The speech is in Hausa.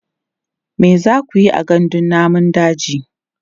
me zakuyi a gandun namun daji?